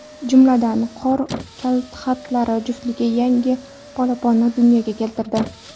Jumladan, qor kalxatlari juftligi yangi polaponni dunyoga keltirdi.